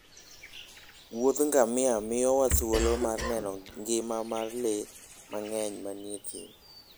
Wuoth ngamia miyowa thuolo mar neno ngima mar le mang'eny manie thim.